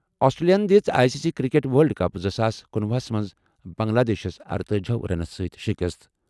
آسٹریلیاہَن دِژ I C C cricket world cup زٕ ساس کنُۄہُ ہَس منٛز بنگلہ دیشَس ارتأجی رنو سۭتۍ شِکست۔